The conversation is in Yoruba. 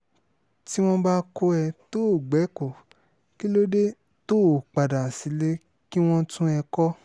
tí wọ́n bá kọ́ ẹ tó o o gbẹ̀kọ́ kí ló dé tó o padà sílé kí wọ́n tún ẹ kọ́